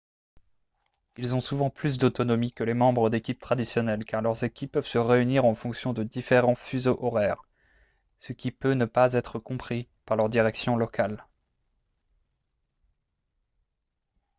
ils ont souvent plus d'autonomie que les membres d'équipe traditionnels car leurs équipes peuvent se réunir en fonction de différent fuseaux horaires ce qui peut ne pas être compris par leur direction locale